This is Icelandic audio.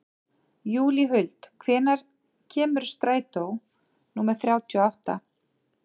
Júlíhuld, hvenær kemur strætó númer þrjátíu og átta?